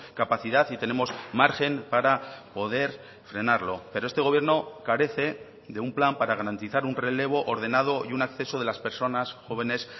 capacidad y tenemos margen para poder frenarlo pero este gobierno carece de un plan para garantizar un relevo ordenado y un acceso de las personas jóvenes